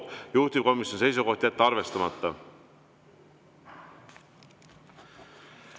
Juhtivkomisjoni seisukoht: jätta arvestamata.